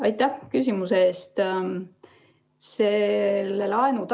Aitäh küsimuse eest!